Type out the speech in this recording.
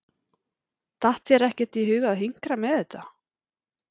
Datt þér ekkert í hug að hinkra með þetta?